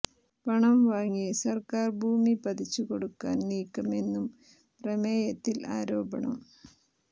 പണം വാങ്ങി സർക്കാർ ഭൂമി പതിച്ച് കൊടുക്കാൻ നീക്കമെന്നും പ്രമേയത്തിൽ ആരോപണം